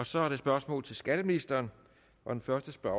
så er der spørgsmål til skatteministeren og den første spørger